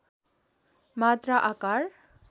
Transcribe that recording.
मात्रा आकार